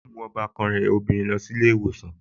Yóò mú ọbàkan rẹ̀ lóbìnrin lọ sí ilé ìwòsàn